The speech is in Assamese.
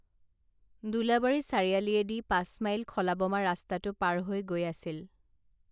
দোলাবাৰী চাৰিআলিয়েদি পাচঁমাইল খলা বমা ৰাস্তাটো পাৰ হৈ গৈ আছিল